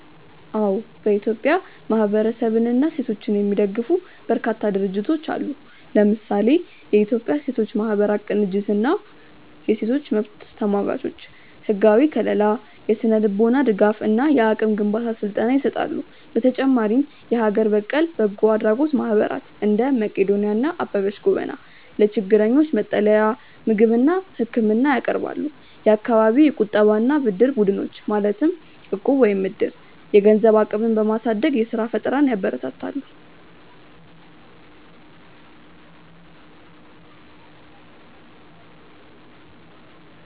አዎ፥ በኢትዮጵያ ማህበረሰብንና ሴቶችን የሚደግፉ በርካታ ድርጅቶች አሉ። ለምሳሌ፦ የኢትዮጵያ ሴቶች ማህበራት ቅንጅት እና የሴቶች መብት ተሟጋቾች፦ ህጋዊ ከልላ፣ የስነ-ልቦና ድጋፍ እና የአቅም ግንባታ ስልጠና ይሰጣሉ። በተጨማሪም የሀገር በቀል በጎ አድራጎት ማህበራት (እንደ መቅዶንያ እና አበበች ጎበና) ለችግረኞች መጠለያ፣ ምግብና ህክምና ያቀርባሉ። የአካባቢ የቁጠባና ብድር ቡድኖች (እቁብ/ዕድር)፦ የገንዘብ አቅምን በማሳደግ የስራ ፈጠራን ያበረታታሉ።